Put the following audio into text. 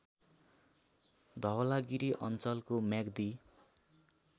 धवलागिरी अञ्चलको म्याग्दी